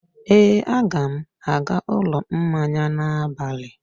ee, a ga m aga ụlọ mmanya n'abalị a.